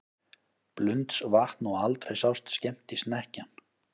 Blundsvatn og aldrei sást skemmtisnekkjan.